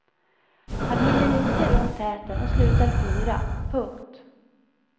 Han hinner inte runt täten och slutar fyra. punkt